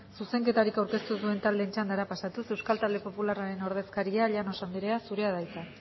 zuzenketarik aurkeztu ez duen taldeen txandara pasatuz euskal talde popularraren ordezkaria llanos andrea zurea da hitza